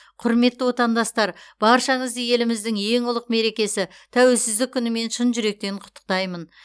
құрметті отандастар баршаңызды еліміздің ең ұлық мерекесі тәуелсіздік күнімен шын жүректен құттықтаймын